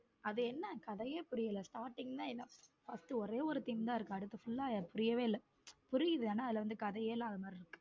அது என்ன கதையே புரியல starting எல்லாம் first ஒரே ஒரு team தான் இருக்கு அடுத்த full ஆ புரியவே இல்லை புரியுது ஆனா அதுல கதையே இல்லாத மாதிரி இருக்கு.